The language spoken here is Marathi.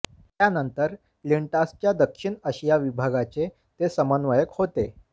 त्यानंतर लिंटासच्या दक्षिण आशिया विभागाचे ते समन्वयक होते